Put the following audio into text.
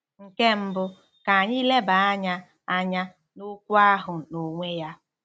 Nke mbụ, ka anyị leba anya anya n'okwu ahụ n'onwe ya.